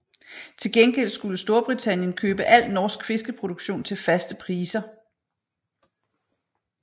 Til gengæld skulle Storbritannien købe al norsk fiskeproduktion til faste priser